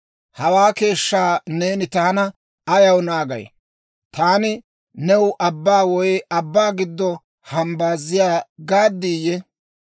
Hawaa keeshshaa neeni taana ayaw naagay? Taani new abbaa woy abbaa giddo hambbaaziyaa gaaddiyye?